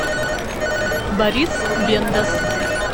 борис бендас